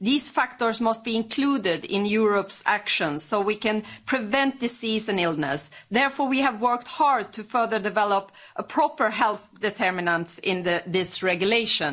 These factors must be included in Europe's actions so we can prevent disease and illness. Therefore we have worked hard to further develop proper health determinants in this regulation.